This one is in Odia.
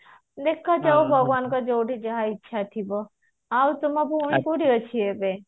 ଦେଖାଯାଉ ଭଗବାନଙ୍କ ଦୟାରୁ ଯାହା ଇଚ୍ଛା ଥିବ ଆଉ ତମ ଭଉଣୀ ଏବେ କୋଉଠି ଅଛି ଏବେ